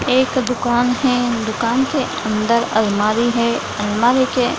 एक दुकान है। दुकान के अंदर अलमारी है। अलमारी के --